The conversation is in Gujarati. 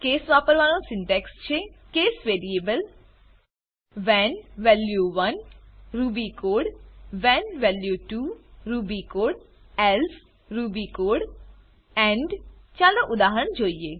કેસ વાપરવાનો સિન્ટેક્સ છે case variable case variable when value 1 when value 1 Ruby code Ruby code when value 2 when value 2 Ruby code Ruby code else else Ruby code Ruby code end end ચાલો ઉદાહરણ જોઈએ